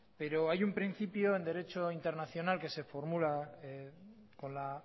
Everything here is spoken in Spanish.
pero hay un principio en derecho internacional que se formula con la